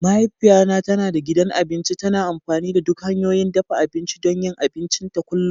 Mahaifiyata tana da gidan abinci, tana amfani da duk hanyoyin dafa abinci don yin abincinta kullum.